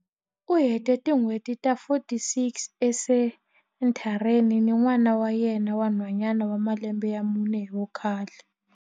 U hete tin'hweti ta 46 esenthareni ni n'wana wa yena wa nhwanyana wa malembe ya mune hi vukhale.